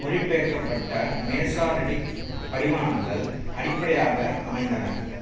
மொழிபெயர்க்கப்பட Masoretic படிமானங்கள் அடிப்படையாக அமைந்தன